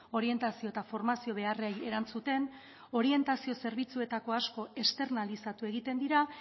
orientazio eta formazio beharrei erantzuten orientazio zerbitzuetako asko externalizatu egiten dira